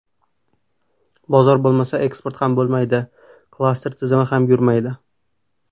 Bozor bo‘lmasa, eksport ham bo‘lmaydi, klaster tizimi ham yurmaydi.